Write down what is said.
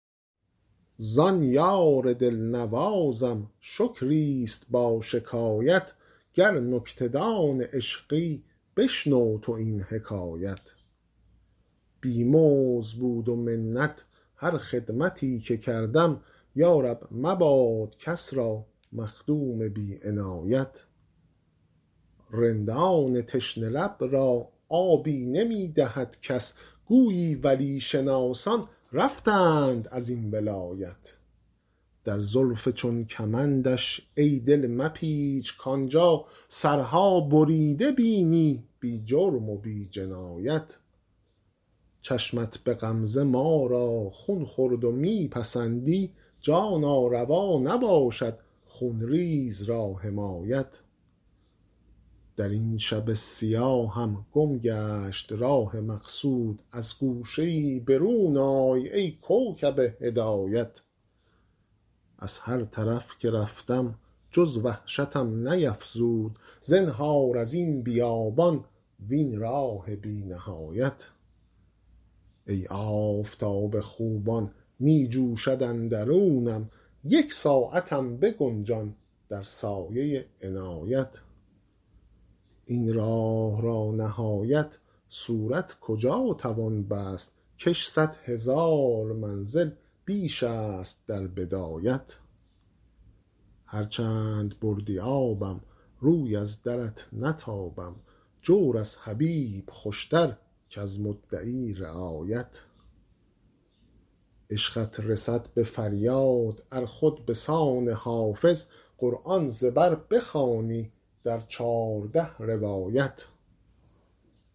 زان یار دل نوازم شکری است با شکایت گر نکته دان عشقی بشنو تو این حکایت بی مزد بود و منت هر خدمتی که کردم یا رب مباد کس را مخدوم بی عنایت رندان تشنه لب را آبی نمی دهد کس گویی ولی شناسان رفتند از این ولایت در زلف چون کمندش ای دل مپیچ کآن جا سرها بریده بینی بی جرم و بی جنایت چشمت به غمزه ما را خون خورد و می پسندی جانا روا نباشد خون ریز را حمایت در این شب سیاهم گم گشت راه مقصود از گوشه ای برون آی ای کوکب هدایت از هر طرف که رفتم جز وحشتم نیفزود زنهار از این بیابان وین راه بی نهایت ای آفتاب خوبان می جوشد اندرونم یک ساعتم بگنجان در سایه عنایت این راه را نهایت صورت کجا توان بست کش صد هزار منزل بیش است در بدایت هر چند بردی آبم روی از درت نتابم جور از حبیب خوش تر کز مدعی رعایت عشقت رسد به فریاد ار خود به سان حافظ قرآن ز بر بخوانی در چارده روایت